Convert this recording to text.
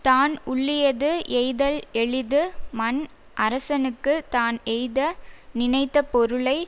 தான் உள்ளியது எய்தல் எளிது மன் அரசனுக்கு தான் எய்த நினைத்த பொருளை